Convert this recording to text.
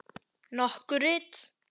Nokkur rit